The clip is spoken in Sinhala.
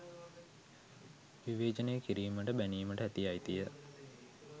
විවේචනය කිරීමට බැනීමට ඇති අයිතිය